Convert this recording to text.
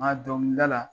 Nka dɔnkilida la